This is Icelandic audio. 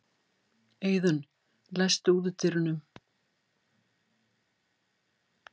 Eiðunn, læstu útidyrunum.